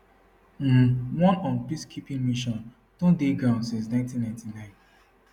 um one un peacekeeping mission don dey ground since 1999